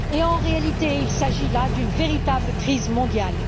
En réalité, il s'agit là d'une véritable crise mondiale.